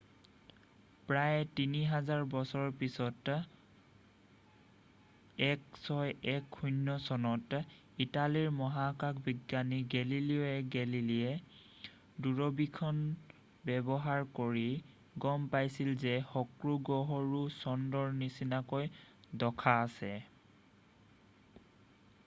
প্ৰায় 3 হাজাৰ বছৰৰ পিছত 1610 চনত ইটালীৰ মহাকাশ বিজ্ঞানী গেলিলিও গেলেলিয়ে দূৰবীক্ষণ ব্যৱহাৰ কৰি গম পাইছিল যে শুক্ৰ গ্ৰহৰো চন্দ্ৰৰ নিচিনা দশা আছে